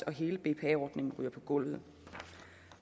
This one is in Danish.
og hele bpa ordningen ryger på gulvet